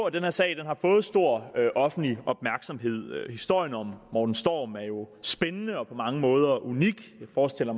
at den her sag har fået stor offentlig opmærksomhed historien om morten storm er jo spændende og på mange måder unik jeg forestiller